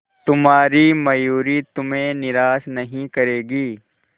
तुम्हारी मयूरी तुम्हें निराश नहीं करेगी